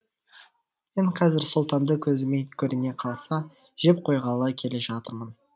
мен қазір сұлтанды көзіме көріне қалса жеп қойғалы келе жатырмын